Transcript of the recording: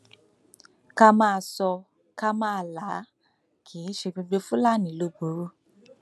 ká máa sọ ọ ká máa là á kì í ṣe gbogbo fúlàní ló burú